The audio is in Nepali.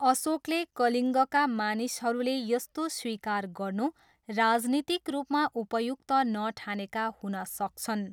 अशोकले कलिङ्गका मानिसहरूले यस्तो स्वीकार गर्नु राजनीतिक रूपमा उपयुक्त नठानेका हुन सक्छन्।